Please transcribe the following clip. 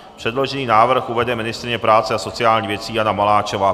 Předložený návrh uvede ministryně práce a sociálních věcí Jana Maláčová.